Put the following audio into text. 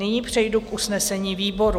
Nyní přejdu k usnesení výboru: